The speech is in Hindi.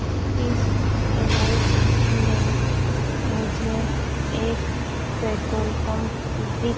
इस इमेज में मुझे एक पेट्रोल पंप दिख--